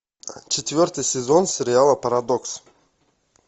четвертый сезон сериала парадокс